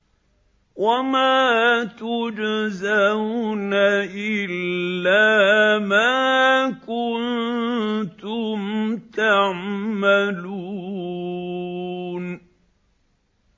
وَمَا تُجْزَوْنَ إِلَّا مَا كُنتُمْ تَعْمَلُونَ